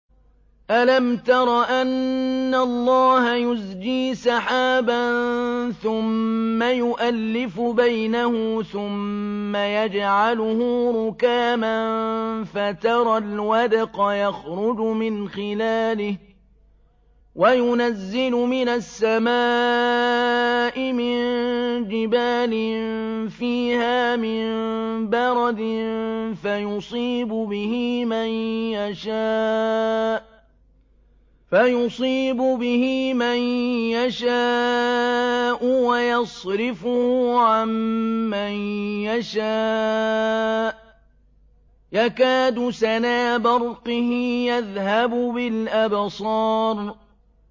أَلَمْ تَرَ أَنَّ اللَّهَ يُزْجِي سَحَابًا ثُمَّ يُؤَلِّفُ بَيْنَهُ ثُمَّ يَجْعَلُهُ رُكَامًا فَتَرَى الْوَدْقَ يَخْرُجُ مِنْ خِلَالِهِ وَيُنَزِّلُ مِنَ السَّمَاءِ مِن جِبَالٍ فِيهَا مِن بَرَدٍ فَيُصِيبُ بِهِ مَن يَشَاءُ وَيَصْرِفُهُ عَن مَّن يَشَاءُ ۖ يَكَادُ سَنَا بَرْقِهِ يَذْهَبُ بِالْأَبْصَارِ